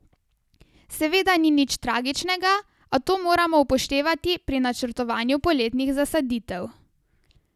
Seveda ni nič tragičnega, a to moramo upoštevati pri načrtovanju poletnih zasaditev.